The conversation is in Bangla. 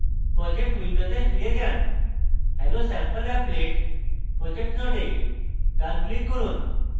project window ফিরে যান hellosampleapplet projects node ডান click করুন